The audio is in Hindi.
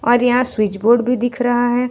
और यहां स्विचबोर्ड भी दिख रहा है।